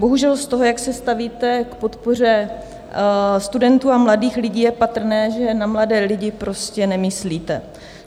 Bohužel z toho, jak se stavíte k podpoře studentů a mladých lidí, je patrné, že na mladé lidi prostě nemyslíte.